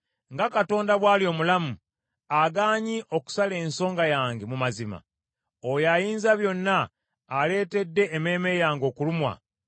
“Nga Katonda bw’ali omulamu, agaanye okusala ensonga yange mu mazima, oyo Ayinzabyonna, aleetedde emmeeme yange okulumwa,